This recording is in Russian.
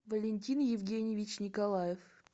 валентин евгеньевич николаев